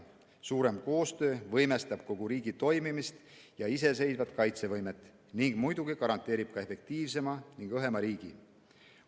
Suurem koostöö võimestab kogu riigi toimimist ja iseseisvat kaitsevõimet ning muidugi garanteerib efektiivsema ning õhema riigi.